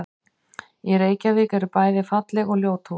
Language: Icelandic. Í Reykjavík eru bæði falleg og ljót hús.